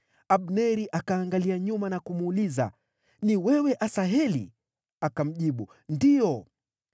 Abneri akaangalia nyuma na kumuuliza, “Ni wewe, Asaheli?” Akamjibu, “Ndiyo.”